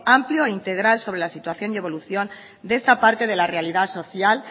amplio e integral sobre la situación y evolución de esta parte de la realidad social